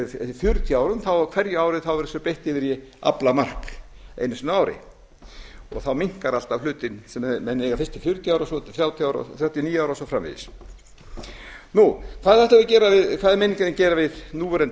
fjörutíu árum á hverju ári verður þessu beitt yfir í aflamark einu sinni á ári og þá minnkar alltaf hlutinn sem menn eiga fiskinn fjörutíu ár þrjátíu og níu ár og svo framvegis hvað er meiningin að gera við núverandi